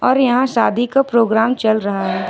और यहां शादी का प्रोग्राम चल रहा है।